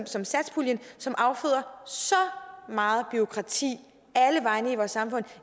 som satspuljen som afføder så meget bureaukrati alle vegne i vores samfund